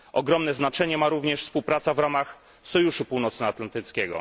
Ogromne znacznie ma również współpraca w ramach Sojuszu Północnoatlantyckiego.